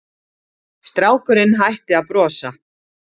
Strákurinn hætti að brosa.